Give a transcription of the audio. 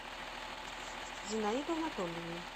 зинаиду анатольевну